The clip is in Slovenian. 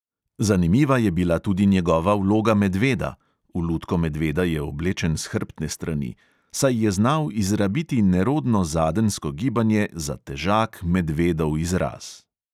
Zanimiva je bila tudi njegova vloga medveda (v lutko medveda je oblečen s hrbtne strani), saj je znal izrabiti nerodno zadenjsko gibanje za težak medvedov izraz.